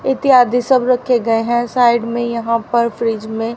इत्यादि सब रखे गए हैं साइड में यहां पर फ्रिज में--